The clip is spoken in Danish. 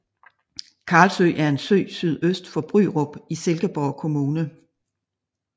Karlsø er en sø sydøst for Bryrup i Silkeborg Kommune